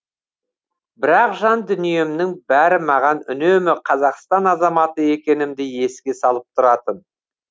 бірақ жан дүниемнің бәрі маған үнемі қазақстан азаматы екенімді еске салып тұратын